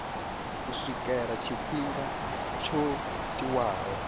u swikela tshifhinga tsho tiwaho